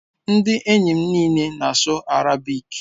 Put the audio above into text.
Ndị enyi m niile na-asụ Arabic